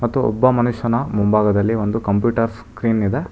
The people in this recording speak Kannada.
ಮತ್ತು ಒಬ್ಬ ಮನುಷ್ಯನ ಮುಂಭಾಗದಲ್ಲಿ ಒಂದು ಕಂಪ್ಯೂಟರ್ ಸ್ಕ್ರೀನ್ ಇದೆ.